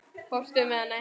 Fórstu með hana heim?